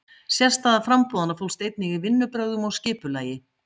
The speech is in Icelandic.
Sérstaða framboðanna fólst einnig í vinnubrögðum og skipulagi.